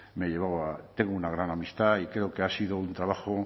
me llevaba tengo una gran amistad y creo que ha sido un trabajo